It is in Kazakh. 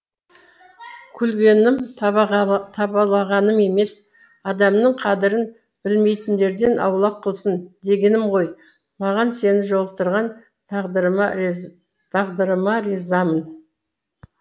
күлгенім табалағаным емес адамның қадырын білмейтіндерден аулақ қылсын дегенім ғой маған сені жолықтырған тағдырыма тағдырыма ризамын